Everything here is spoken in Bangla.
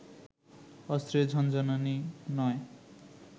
অস্ত্রের ঝনঝনানি নয়